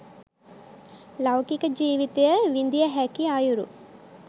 ලෞකික ජීවිතය විඳිය හැකි අයුරු